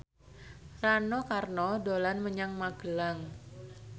Rano Karno dolan menyang Magelang